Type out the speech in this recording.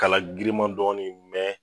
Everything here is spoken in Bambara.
K'ala griman dɔɔnin,